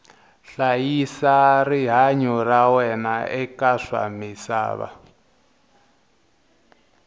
hlayisa rihanyu ra wena eka swa misava